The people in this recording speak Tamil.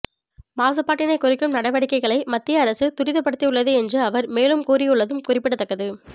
மாசுபாட்டினை குறைக்கும் நடவடிக்கைகளை மத்திய அரசு துரிதப்படுத்தி யுள்ளது என்று அவர் மேலும் கூறியுள்ளதும் குறிப்பிடத்தக்கது